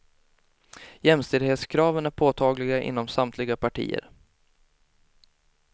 Jämställdhetskraven är påtagliga inom samtliga partier.